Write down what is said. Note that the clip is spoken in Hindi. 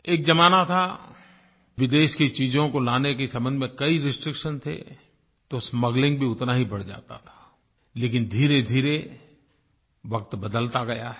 एक ज़माना था विदेश की चीज़ों को लाने के सम्बन्ध में कई रिस्ट्रिक्शन थे तो स्मगलिंग भी उतना ही बढ़ जाता था लेकिन धीरेधीरे वक्त बदलता गया है